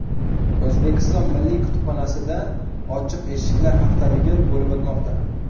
O‘zbekiston milliy kutubxonasida ochiq eshiklar haftaligi bo‘lib o‘tmoqda.